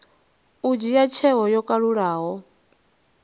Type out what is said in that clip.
u dzhia tsheo yo kalulaho